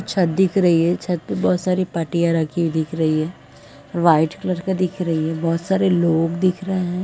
छत दिख रही है। छत पे बोहोत सारी पट्टियाँ रखी हुई दिख रही हैं। व्हाइट कलर का दिख रही है। बोहोत सारे लोग दिख रहे हैं।